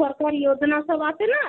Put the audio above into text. সরকারী যোজনা সব আছেনা.